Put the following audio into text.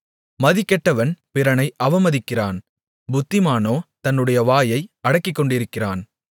மதிகெட்டவன் பிறனை அவமதிக்கிறான் புத்திமானோ தன்னுடைய வாயை அடக்கிக்கொண்டிருக்கிறான்